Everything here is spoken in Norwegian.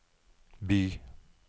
by